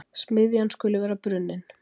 smiðjan skuli vera brunnin.